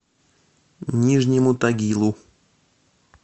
нижнему тагилу